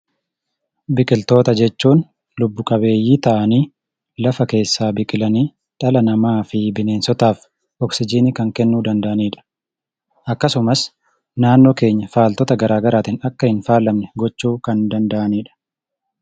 Biqiltoota jechuun lubbu qabeeyyii ta'anii kanneen lafa keessaa biqilanii dhala namaa fi bineensotaaf oksijinii kennuu kan danda'anidha. Akkasumas, naannoo keenya faaltota garaa garaatiin akka hin faalamne gochuu kan danda'anidha.